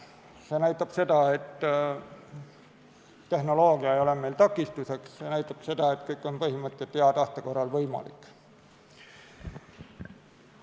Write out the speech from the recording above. See näitab seda, et tehnoloogia ei ole meile takistuseks, see näitab seda, et põhimõtteliselt kõik on hea tahte korral võimalik.